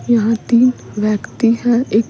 यहां तीन व्यक्ति हैं एक --